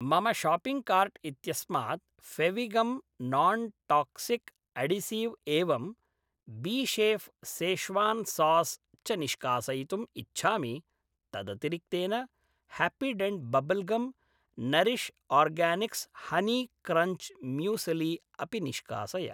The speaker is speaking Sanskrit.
मम शाप्पिङ्ग् कार्ट् इत्यस्मात् फेविगम् नान्टाक्सिक् अढीसिव् एवं बीशेफ् सेश्वान् सास् च निष्कासयितुम् इच्छामि। तदतिरिक्तेन Happydent bubble gum, Nourish Organics honey crunch muesli अपि निष्कासय।